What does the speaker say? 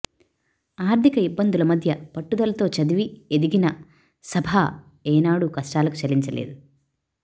ఆర్థిక ఇబ్బందుల మధ్య పట్టుదలతో చదివి ఎదిగిన సభా ఏనాడూ కష్టాలకు చలించలేదు